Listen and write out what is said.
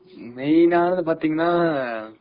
main ஆனது பாத்தீங்கன்னா